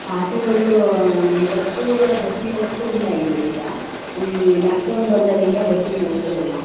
Auto ಗಳು ಅಹ್ bus ಬಸ್ಸಿನ್ ವ್ಯವಸ್ಥೆ ಇಲ್ಲ ಈಗ. ಹ್ಮ್ಮ್ ಲಾಕ್ ಡೌನ್ ಇಂದ ಬಸ್ಸಿನ್ ವ್ಯವಸ್ಥೆ ಇಲ್ಲ.